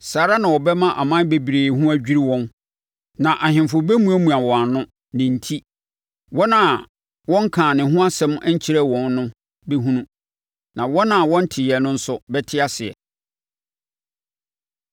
Saa ara na ɔbɛma aman bebree ho adwiri wɔn na ahemfo bɛmuamua wɔn ano, ne enti. Wɔn a wɔnkaa ne ho asɛm nkyerɛɛ wɔn no bɛhunu, na wɔn a wɔnteeɛ no nso bɛte aseɛ.